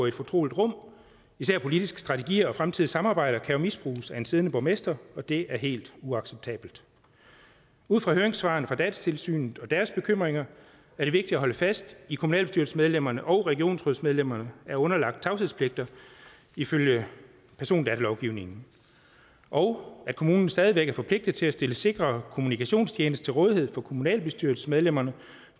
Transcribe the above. et fortroligt rum især politiske strategier og fremtidige samarbejder kan jo misbruges af en siddende borgmester og det er helt uacceptabelt ud fra høringssvarene fra datatilsynet og deres bekymringer er det vigtigt at holde fast i at kommunalbestyrelsesmedlemmerne og regionsrådsmedlemmerne er underlagt tavshedspligt ifølge persondatalovgivningen og at kommunen stadig væk er forpligtet til at stille sikre kommunikationstjenester til rådighed for kommunalbestyrelsesmedlemmerne